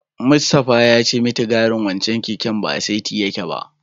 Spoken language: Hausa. Mustapha ya ce mitigarin wancen keken ba a saiti yake ba.